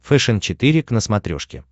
фэшен четыре к на смотрешке